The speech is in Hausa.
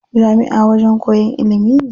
Jami'a wajen koyan ilimi ne.